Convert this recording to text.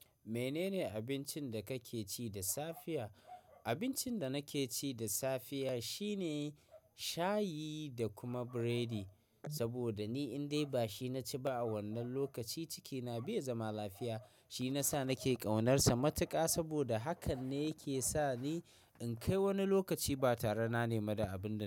Menene abincin da kake ci da safiya? Abincin da nake ci da safiya shine shayi da kuma biredi, saboda ni in dai ba shi na ci ba a wannan lokaci, cikina bai zama lafiya. Shi na sa nake ƙaunarsa matuƙa saboda hakan ne yake sa ni in kai wani lokaci ba tare na nema da abin da.